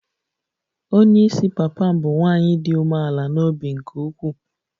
Onye isi papa m bụ nwanyị dị umeala n'obi nke ukwuu